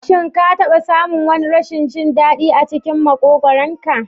Shin ka taɓa samun wani rashin jin daɗi a cikin makogwaron ka?